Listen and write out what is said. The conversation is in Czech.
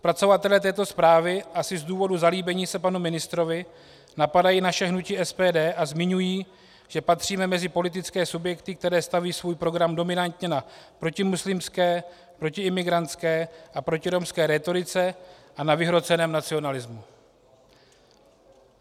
Zpracovatelé této zprávy asi z důvodu zalíbení se panu ministrovi napadají naše hnutí SPD a zmiňují, že patříme mezi politické subjekty, které staví svůj program dominantně na protimuslimské, protiimigrantské a protiromské rétorice a na vyhroceném nacionalismu.